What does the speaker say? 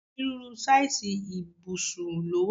Onírúurú sáìsì ibusub ló wà.